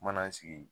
Mana sigi